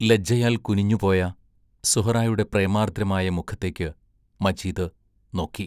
ലജ്ജയാൽ കുനിഞ്ഞുപോയ സുഹറായുടെ പ്രേമാർദ്രമായ മുഖത്തേക്ക് മജീദ് നോക്കി....